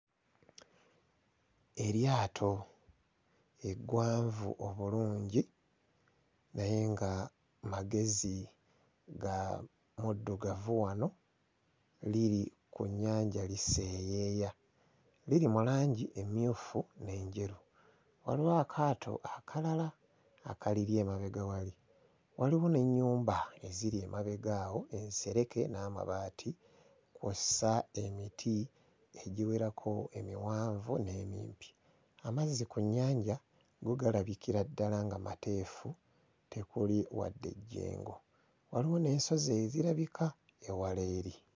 Eryato eggwanvu obulungi naye nga magezi ga muddugavu wano liri ku nnyanja liseeyeeya, liri mu langi emmyufu n'enjeru. Waliwo akaato akalala akaliri emabega wali, waliwo n'ennyumba eziri emabega awo ensereke n'amabaati kw'ossa emiti egiwerako emiwanvu n'emimpi. Amazzi ku nnyanja go galabikira ddala nga mateefu tekuli wadde ejjengo, waliwo n'ensozi ezirabika ewala eri.